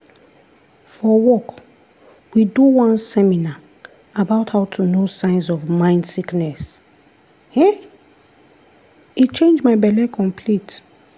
for wok, we do one seminar about how to know signs of mind sickness!! e change my belle complete